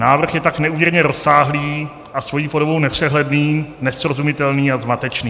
Návrh je tak neúměrně rozsáhlý a svou podobou nepřehledný, nesrozumitelný a zmatečný.